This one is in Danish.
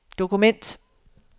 dokument